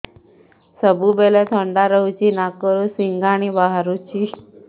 ସବୁବେଳେ ଥଣ୍ଡା ରହୁଛି ନାକରୁ ସିଙ୍ଗାଣି ବାହାରୁଚି